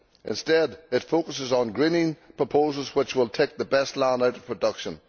Instead, it focuses on greening proposals which will take the best land out of production.